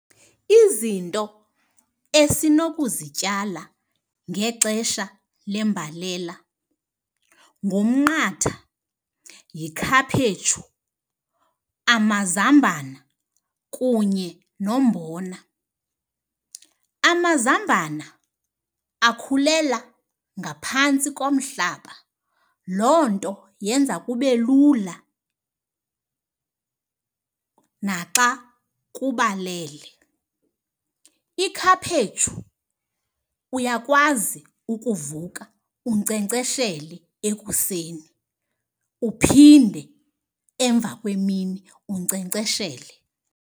Izinto esinokuzityala ngexesha lembalela ngumnqatha, yikhaphetshu, amazambane kunye nombona. Amazambana akhulela ngaphantsi komhlaba loo nto yenza kube lula naxa kubalele. Ikhaphetshu uyakwazi ukuvuka unkcenkceshele ekuseni uphinde emva kwemini unkcenkceshele.